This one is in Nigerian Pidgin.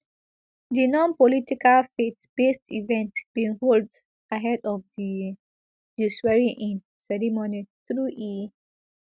di nonpolitical faithbased event bin hold ahead of di di swearingin ceremony though e